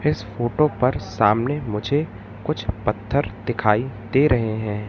इस फोटो पर सामने मुझे कुछ पत्थर दिखाई दे रहे हैं।